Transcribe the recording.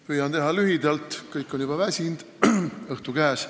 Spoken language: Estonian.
Püüan teha lühidalt: kõik on juba väsinud, õhtu on käes.